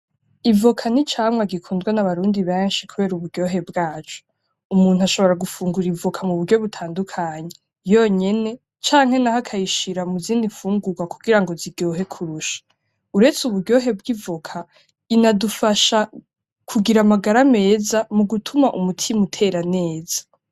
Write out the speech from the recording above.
Ivoka n'icamwa gikundwa nabarundi benshi kubera uburyohe bwaco. Umuntu ashobora gufungura ivoka muburyo butandukanye yonyene canke naho akayishira muzindi mfungurwa kugira ngo ziryohe kurusha. Uretse uburyohe bwi'ivoka, inadufasha kugira amagara meza mugutuma umutima utera neza.